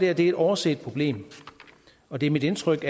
er et overset problem og det er mit indtryk